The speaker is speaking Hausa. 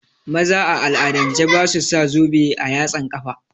Maza a al'adance basu sa zobe a yatsan kafa